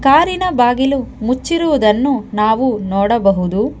ಕಾರಿನ ಬಾಗಿಲು ಮುಚ್ಚಿರುವುದನ್ನು ನಾವು ನೋಡಬಹುದು.